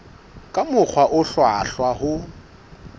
ka mokgwa o hlwahlwa ho